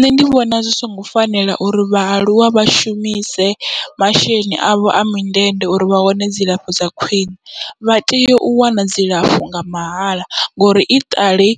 Nṋe ndi vhona zwi songo fanela uri vhaaluwa vha shumise masheleni avho a mindende uri vha wane dzilafho dza khwiṋe, vha tea u wana dzilafho nga mahala ngori i ṱali